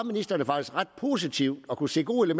ministeren var ret positiv og kunne se gode